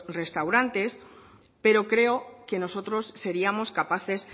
restaurantes pero creo que nosotros seríamos capaces